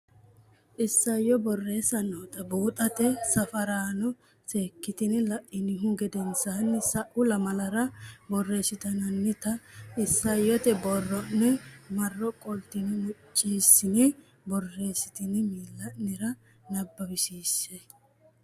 Isayyo Borreessa noota buuxote safaraano seekkitine la inihu gedensaanni sa u lamalara borreessitinita isayyote borro ne marro qoltine muccissine borreessitine miilla nera nabbawisiissensa.